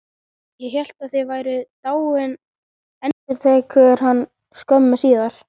Ég hélt þið væruð dáin, endurtekur hann skömmu síðar.